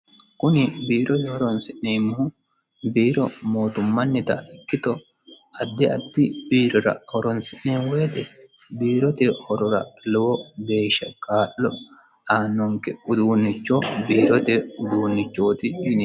kuni biirote horonsi'neemmohu biiro mootummannita ikkito addi addi biirora horonsi'neemo woyite biirote horora lowo beeshsha kaa'lo aannonke uduunnicho biirote uduunnichooti yineemmo.